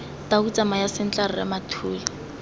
tau tsamaya sentle rre mathule